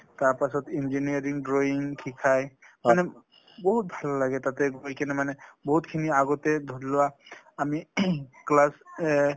তাৰ পাছত engineering drawing শিকায়। মানে বহুত ভাল লাগে তাতে গৈ কিনে মানে বহুতখিনি আগতে ধৰি লোৱা আমি class এ